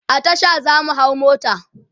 a Tasha zamu hau mota